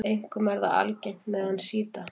Einkum er það algengt meðal sjíta.